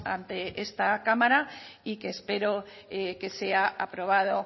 ante esta cámara y que espero que sea aprobado